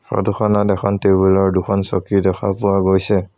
Photo খনত এখন টেবুল আৰু দুখন চকী দেখা পোৱা গৈছে।